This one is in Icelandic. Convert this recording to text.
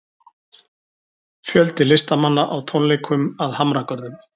Fjöldi listamanna á tónleikum að Hamragörðum